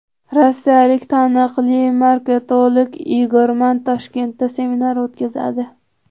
Rossiyalik taniqli marketolog Igor Mann Toshkentda seminar o‘tkazadi.